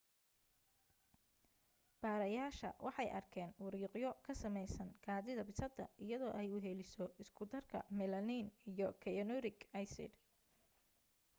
baarayaasha waxay arkeen wiriqyo kasameysan kaadida bisada iyadoo ay weheliso iskudarka melamine iyo cyanuric acid